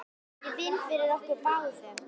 Ég vinn fyrir okkur báðum.